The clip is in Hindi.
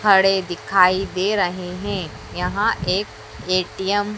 खड़े दिखाई दे रहे हैं। यहां एक ए_टी_एम --